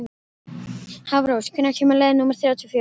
Hafrós, hvenær kemur leið númer þrjátíu og fjögur?